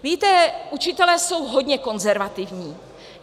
Víte, učitelé jsou hodně konzervativní.